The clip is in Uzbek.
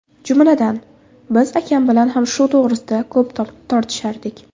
Jumladan, biz akam bilan ham shu to‘g‘risida ko‘p tortishardik.